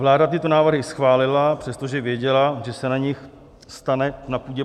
Vláda tyto návrhy schválila, přestože věděla, že se z nich stane na půdě